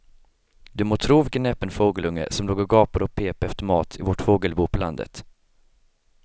Du må tro vilken näpen fågelunge som låg och gapade och pep efter mat i vårt fågelbo på landet.